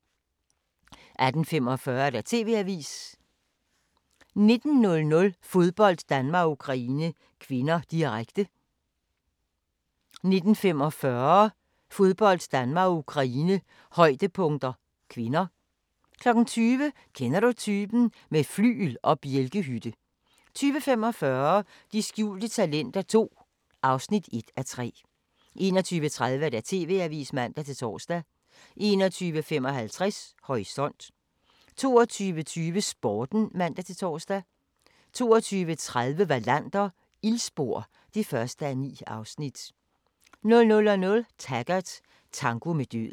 18:45: TV-avisen 19:00: Fodbold: Danmark-Ukraine (k), direkte 19:45: Fodbold: Danmark-Ukraine, højdepunkter (k) 20:00: Kender du typen? - med flygel og bjælkehytte 20:45: De skjulte talenter II (1:3) 21:30: TV-avisen (man-tor) 21:55: Horisont 22:20: Sporten (man-tor) 22:30: Wallander: Ildspor (1:9) 00:00: Taggart: Tango med døden